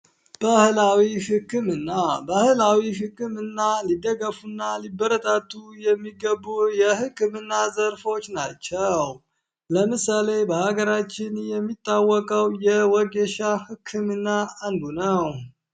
ባህላዊ ህክምና ባህላዊ ህክምና ሊደገፋ እና ሊበረታቱ የሚገቡ የህክምና ዘርፎች ናቸው። ለምሳሌ በሀገራችን የሚታወቀው የወጌሻ ህክምና አንዱ ነው።